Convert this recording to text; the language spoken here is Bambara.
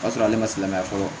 O y'a sɔrɔ ale ma se ka na fɔlɔ